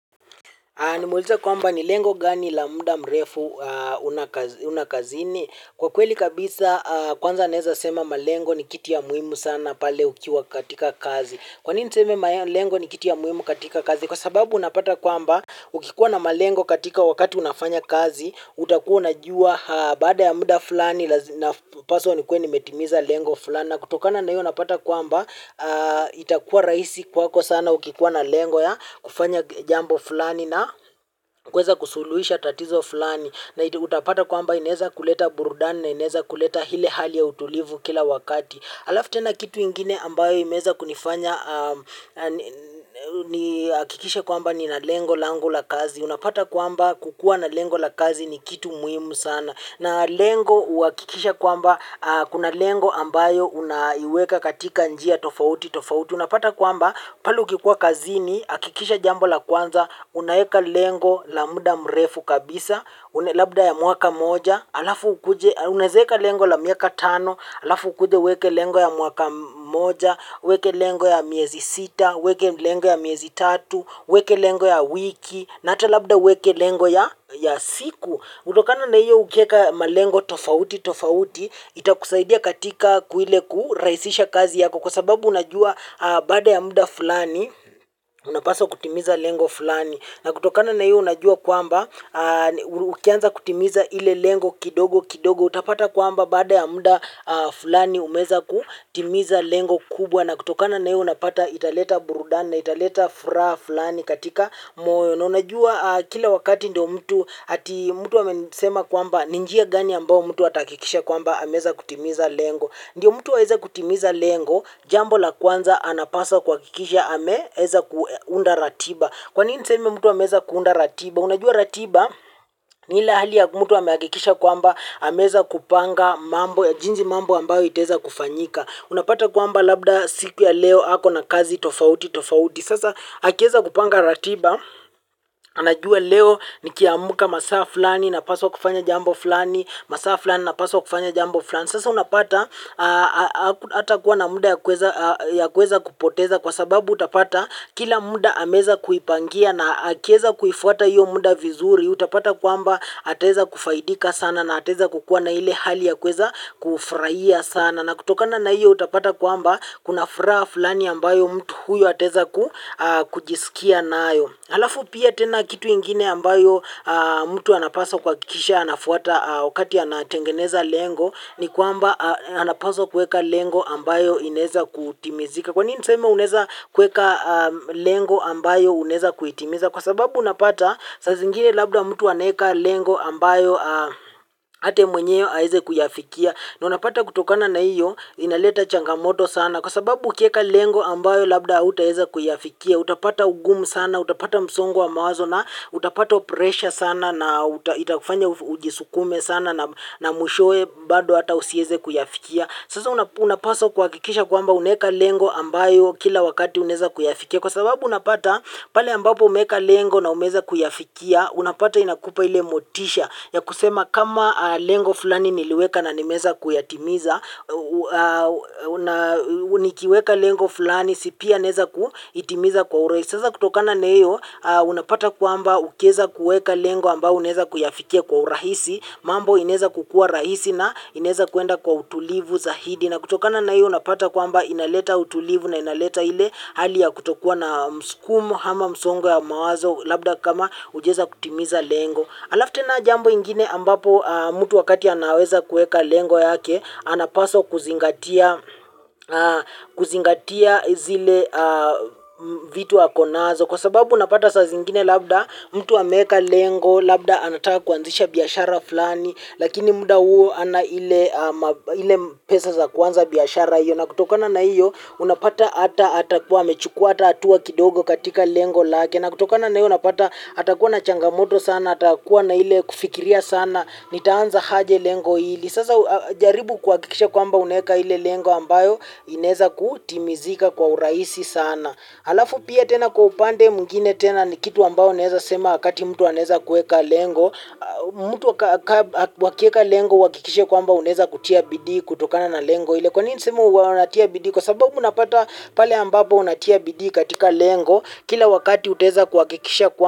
Nimueleza kwamba ni lengo gani la muda mrefu una kazini. Kwa kweli kabisa kwanza naeza sema malengo ni kitu ya muhimu sana pale ukiwa katika kazi kwa nini niseme malengo ni kitu ya muhimu katika kazi? Kwa sababu unapata kwamba ukikuwa na malengo katika wakati unafanya kazi utakuwa unajua baada ya muda fulani napaswa nikuwe nimetimiza lengo fulani na kutokana na hiyo unapata kwamba itakuwa rahisi kwako sana ukikuwa na lengo ya kufanya jambo fulani na kuweza kusuluhisha tatizo fulani na utapata kwamba inaweza kuleta burudani na inewza kuleta ile hali ya utulivu kila wakati alafu tena kitu ingine ambayo imeweza kunifanya nihakikisha kwamba nina lengo lango la kazi. Unapata kwamba kukuwa na lengo la kazi ni kitu muhimu sana. Na lengo huhakikisha kwamba kuna lengo ambayo unaiweka katika njia tofauti tofauti. Unapata kwamba pale ukikuwa kazini hakikisha jambo la kwanza unaweka lengo la muda mrefu kabisa. Labda ya mwaka mmoja alafu ukuje unaweza weka lengo la miaka tano alafu ukuje uweke lengo ya mwaka mmoja uweke lengo ya miezi sita uweke lengo ya miezi tatu uweke lengo ya wiki na ata labda uweke lengo ya siku kutokana na hiyo ukiweka malengo tofauti tofauti itakusaidia katika ile kurahisisha kazi yako kwa sababu unajua baada ya muda fulani unapaswa kutimiza lengo fulani na kutokana na hiyo unajua kwamba ukianza kutimiza ile lengo kidogo kidogo utapata kwamba baada ya muda fulani umeweza kutimiza lengo kubwa na kutokana na iyo unapata italeta burudani, na italeta furaha fulani katika moyo na unajua kila wakati ndiyo mtu ati mtu amenisema kwamba ni njia gani ambayo mtu atahakikisha kwamba ameweza kutimiza lengo ndiyo mtu aweze kutimiza lengo jambo la kwanza anapaswa kuhakikisha ameweza kuunda ratiba kwa nini niseme mtu ameweza kuunda ratiba unajua ratiba ni ile hali ya mtu amehakikisha kwamba ameweza kupanga mambo ya jinsi mambo ambayo itaweza kufanyika. Unapata kwamba labda siku ya leo ako na kazi tofauti tofauti. Sasa akiweza kupanga ratiba, anajua leo nikiamka masaa fulani napaswa kufanya jambo fulani, masaa fulani napaswa kufanya jambo fulani. Sasa unapata hatakuwa na muda ya kuweza kupoteza kwa sababu utapata kila muda ameweza kuipangia na akiweza kuifuata hiyo muda vizuri utapata kwamba ataweza kufaidika sana na ataweza kukua na ile hali ya kuweza kufurahia sana na kutokana na hiyo utapata kwamba kuna furaha fulani ambayo mtu huyu ataweza kujisikia nayo halafu pia tena kitu ingine ambayo mtu anapaswa kuhakisha anafuata wakati anatengeneza lengo ni kwamba anapaswa kuweka lengo ambayo inaweza kutimizika kwa nini niseme unaweza kuweka lengo ambayo unaweza kuitimiza kwa sababu unapata saa zingine labda mtu anaweka lengo ambayo hata yeye mwenyewe haezi kuyafikia na unapata kutokana na hiyo inaleta changamoto sana kwa sababu ukiweka lengo ambayo labda hautaweza kuyafikia utapata ugumu sana, utapata msongo wa mawazo na utapata pressure sana na itakufanya ujisukume sana na mwishowe bado hata usiweze kuyafikia sasa unapaswa kuhakikisha kwamba unaweka lengo ambayo kila wakati unaweza kuyafikia kwa sababu unapata pale ambapo umeweka lengo na umeweza kuyafikia unapata inakupa ile motisha ya kusema kama lengo fulani niliweka na nimeweza kuyatimiza nikiweka lengo fulani si pia naweza kuitimiza kwa urahisi sasa kutokana na hiyo unapata kwamba ukiweza kuweka lengo ambayo unaweza kuyafikia kwa urahisi mambo inaweza kukuwa rahisi na inaweza kwenda kwa utulivu zaidi na kutokana na hiyo unapata kwamba inaleta utulivu na inaleta ile hali ya kutokuwa na mskumo ama msongo wa mawazo labda kama hujaweza kutimiza lengo halafu tena jambo ingine ambapo mtu wakati anaweza kuweka lengo yake anapaswa kuzingatia kuzingatia zile vitu ako nazo kwa sababu unapata saa zingine labda mtu ameweka lengo labda anataka kuanzisha biashara fulani lakini muda huo hana ile pesa za kuanza biashara hiyo na kutokana na hiyo unapata hata hatakuwa amechukuwa hata hatua kidogo katika lengo lake na kutokana na hiyo unapata atakuwa na changamoto sana atakuwa na ile kufikiria sana nitaanza aje lengo hili sasa jaribu kuhakikisha kwamba unaweka ile lengo ambayo inaweza kutimizika kwa uraisi sana halafu pia tena kwa upande mwingine tena ni kitu ambayo naweza sema wakati mtu anaweza kuweka lengo mtu wakiweka lengo uhakikishe kwamba unaweza kutia bidii kutokana na lengo ile kwa nini niseme unatia bidi kwa sababu unapata pale ambapo unatia bidii katika lengo kila wakati utaweza kuhakikisha kwamba.